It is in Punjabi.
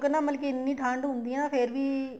ਨਾ ਮਤਲਬ ਕੀ ਐਨੀਂ ਠੰਡ ਹੁੰਦੀ ਆ ਫ਼ੇਰ ਵੀ